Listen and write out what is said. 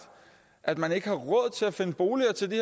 at man ikke har råd til at finde boliger til de